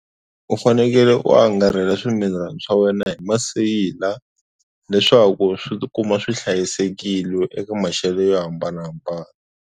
U fanekele u angarhela swimilani swa wena hi maseyila leswaku swi tikuma swi hlayisekile eka maxelo yo hambanahambana.